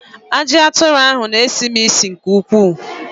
Aji aturu n'esisi m isi nke ukwuu